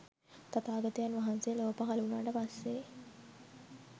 තථාගතයන් වහන්සේ ලොව පහල වුණාට පස්සේ.